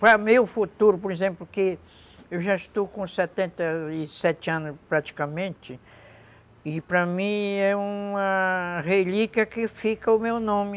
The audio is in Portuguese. Para meu futuro, por exemplo, porque eu já estou com setenta e sete anos, praticamente, e para mim é uma relíquia que fica o meu nome.